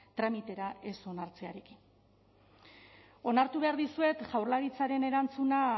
tramitera ez onartzearekin onartu behar dizuet jaurlaritzaren erantzuna